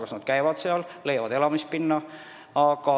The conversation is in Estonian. Nad kas käivad sinna tööle või leiavad elamispinna.